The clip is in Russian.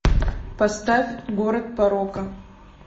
поставь город порока